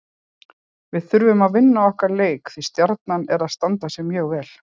Við þurfum að vinna okkar leiki því Stjarnan er að standa sig mjög vel.